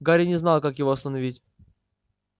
гарри не знал как его остановить